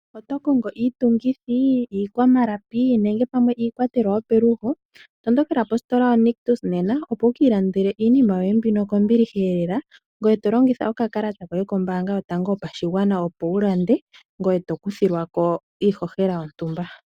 Oto kongo iitungithi, iikwamalapi nenge pamwe iikwatelwa yopelugo? Tondokela positola yoNictus nena opo wu kiilandele iinima yoye mbino kombiliheelela, ngoye to longitha okakalata koye kombaabga yotango yopashigwana opo wulande ngoye to kuthilwako ohohela yontumba.